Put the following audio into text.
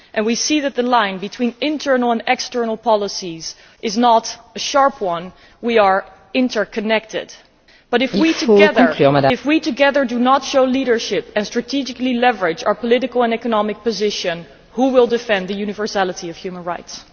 We can see that the line between internal and external policies is not a sharp one and we are interconnected but if, together, we do not show leadership and strategically leverage our political and economic position, who will defend the universality of human rights?